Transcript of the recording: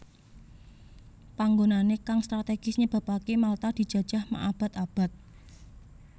Panggonané kang strategis nyebabaké Malta dijajah ma abad abad